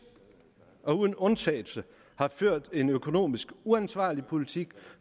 og uden undtagelse har ført en økonomisk uansvarlig politik